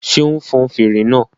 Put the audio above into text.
Ṣé o n fọn fèrè náà?